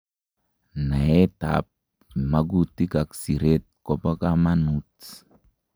Naetab magutik ab siret ko bo kamanut